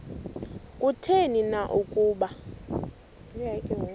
kutheni na ukuba